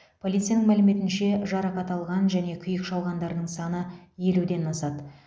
полицияның мәліметінше жарақат алған және күйік шалғандардың саны елуден асады